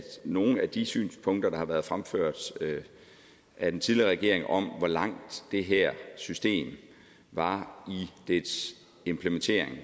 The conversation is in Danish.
nogle af de synspunkter der har været fremført af den tidligere regering om hvor langt det her system var i dets implementering